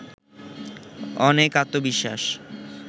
অনেক আত্মবিশ্বাস